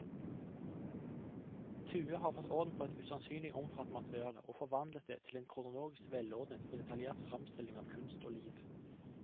Thue har fått orden på et usannsynlig omfattende materiale, og forvandlet det til en kronologisk velordnet og detaljert fremstilling av kunst og liv.